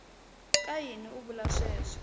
ka yini u vula leswaku